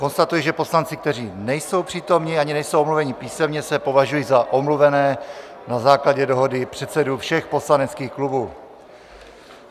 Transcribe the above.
Konstatuji, že poslanci, kteří nejsou přítomni ani nejsou omluveni písemně, se považují za omluvené na základě dohody předsedů všech poslaneckých klubů.